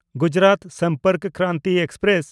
Gujarat Sampark Kranti express